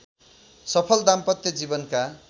सफल दाम्पत्य जीवनका